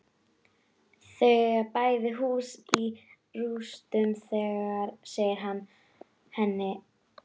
Þau eiga bæði hús í rústum, segir hann henni.